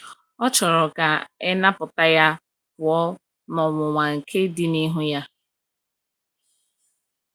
Ọ chọrọ ka e napụta ya pụọ n’ọnwụnwa nke dị n’ihu Ya.